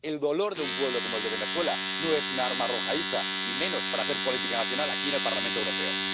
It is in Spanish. El dolor de un pueblo como el de Venezuela no es un arma arrojadiza y menos para hacer política nacional aquí en el Parlamento Europeo.